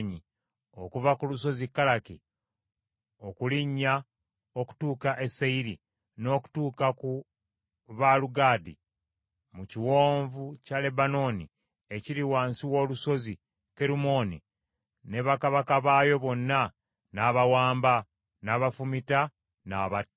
Okuva ku lusozi Kalaki, okulinnya okutuuka e Seyiri, n’okutuuka ku Baalugadi mu kiwonvu kya Lebanooni ekiri wansi w’olusozi Kerumooni ne bakabaka baayo bonna n’abawamba, n’abafumita, n’abatta.